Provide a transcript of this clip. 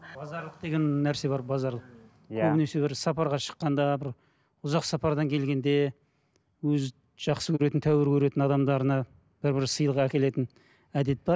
базарлық деген нәрсе бар базарлық иә көбінесе бір сапарға шыққанда бір ұзақ сапардан келгенде өзі жақсы көретін тәуір көретін адамдарына бір бір сыйлық әкелетін әдет бар